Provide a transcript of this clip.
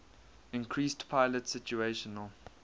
increased pilot situational